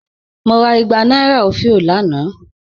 Mo rà ìgbà nàìrà ofìó lánà.